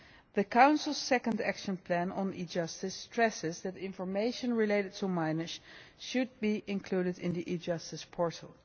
The Council's Second Action Plan on e Justice stresses that information relating to minors should be included in the e Justice Portal.